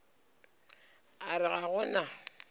a re ga go na